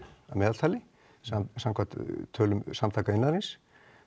að meðaltali samkvæmt tölum Samtaka iðnaðarins